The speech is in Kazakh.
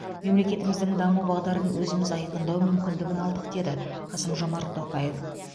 мемлекетіміздің даму бағдарын өзіміз айқындау мүмкіндігін алдық деді қаысм жомарт тоқаев